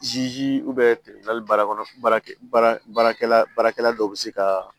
baara kɔnɔ baarakɛ baarakɛla baarakɛla dɔw bɛ se ka